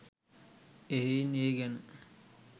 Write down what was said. එහෙයින් ඒ ගැන